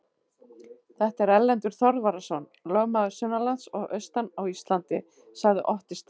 Þetta er Erlendur Þorvarðarson, lögmaður sunnanlands og austan á Íslandi, sagði Otti Stígsson.